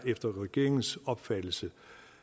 efter regeringens opfattelse